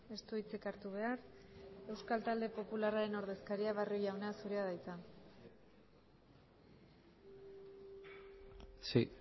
ez du hitzik hartu behar euskal talde popularraren ordezkaria barrio jauna zurea da hitza sí